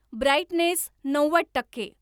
brightness नव्वद टक्के